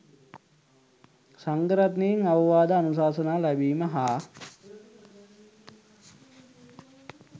සංඝරත්නයෙන් අවවාද අනුශාසනා ලැබීම හා